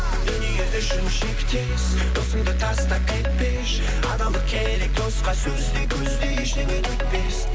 дүние үшін шектес досыңды тастап кетпеші адалдық керек досқа сөз де көз де ештеңе күтпес